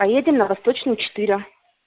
поедем на восточную четыре